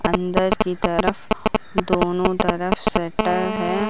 अंदर की तरफ दोनों तरफ शटर है।